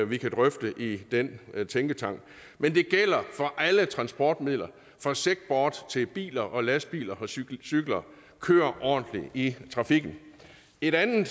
vi kan drøfte i den tænketank men det gælder for alle transportmidler fra segboards til biler og lastbiler og cykler cykler kør ordentligt i trafikken en anden